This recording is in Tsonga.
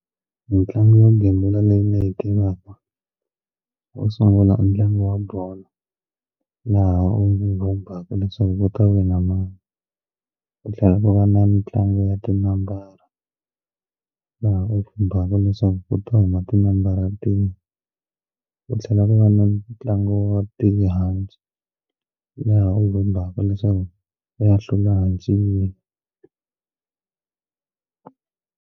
Ntlangu yo gembula leyi ni yi tivaku wo sungula i ntlangu wa bolo laha u nga kombaka leswaku ku ta wina mani ku tlhela ku va na ntlangu ya ti nambara laha u vhumbhaka leswaku ku ta humelela ti nambara tihi u tlhela ku va na ntlangu wa tihanci laha u vhumbhaka leswaku ku ya hlula hanci.